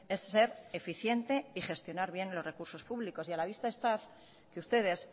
es ser eficiente y gestionar bien los recursos públicos y a la vista está que ustedes